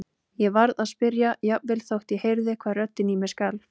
Ég varð að spyrja jafnvel þótt ég heyrði hvað röddin í mér skalf.